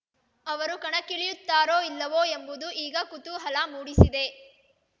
ಅವರು ಕಣಕ್ಕಿಳಿಯುತ್ತಾರೋ ಇಲ್ಲವೋ ಎಂಬುದು ಈಗ ಕುತೂಹಲ ಮೂಡಿಸಿದೆ